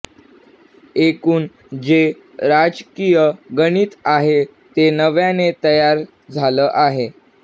एकूण जे राजकीय गणित आहे ते नव्याने तयार झालं आहे